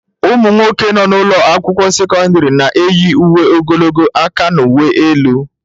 Ụmụ nwoke nọ n'ụlọ akwụkwọ sekọndrị na-eyi uwe ogologo aka n'uwe elu.